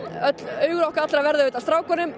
augu okkar allra verða á strákunum